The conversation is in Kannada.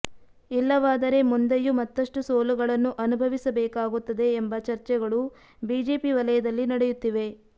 ಇಲ್ಲವಾದರೆ ಮುಂದೆಯೂ ಮತ್ತಷ್ಟು ಸೋಲುಗಳನ್ನು ಅನುಭವಿಸಬೇಕಾಗುತ್ತದೆ ಎಂಬ ಚರ್ಚೆಗಳು ಬಿಜೆಪಿ ವಲಯದಲ್ಲಿ ನಡೆಯುತ್ತಿವೆ